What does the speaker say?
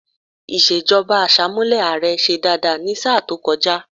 Ìṣèjọba Àṣàmúlò ààrẹ ṣe dáadáa ní sáà tó kọjá